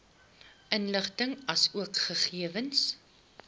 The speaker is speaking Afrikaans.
inligting asook gegewens